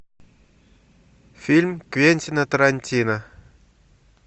фильм квентина тарантино